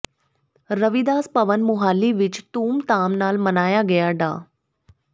ਰਵੀਦਾਸ ਭਵਨ ਮੁਹਾਲੀ ਵਿੱਚ ਧੂਮਧਾਮ ਨਾਲ ਮਨਾਇਆ ਗਿਆ ਡਾ